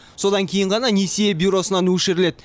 содан кейін ғана несие бюросынан өшіріледі